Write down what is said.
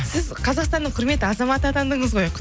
сіз қазақстанның құрметті азаматы атандыңыз ғой